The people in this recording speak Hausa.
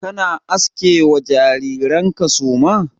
Kana aske ma jariran ka suma?